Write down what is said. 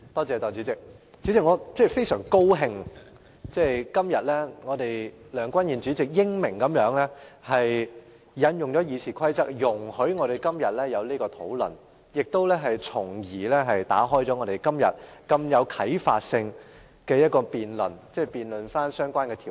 代理主席，我非常高興梁君彥主席今天英明地引用《議事規則》，容許我們進行這項討論，從而打開如此具啟發性的辯論，辯論相關條例。